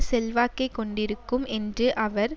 செல்வாக்கை கொண்டிருக்கும் என்று அவர்